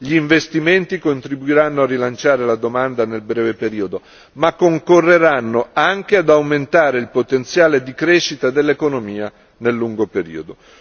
Gli investimenti contribuiranno a rilanciare la domanda nel breve periodo, ma concorreranno anche ad aumentare il potenziale di crescita dell'economia nel lungo periodo.